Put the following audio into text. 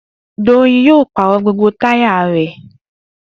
Doyin yóò pàrọ̀ gbogbo táyà rẹ̀